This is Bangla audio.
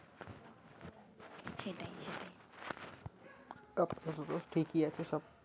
আপতা ততো ঠিকই আছে সব